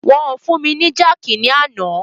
Wọn o fún mi ni jákìí ní àná.